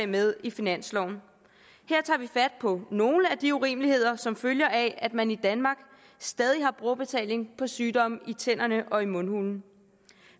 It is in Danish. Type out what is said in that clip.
med i finansloven her tager vi fat på nogle af de urimeligheder som følger af at man i danmark stadig har brugerbetaling på sygdomme i tænderne og i mundhulen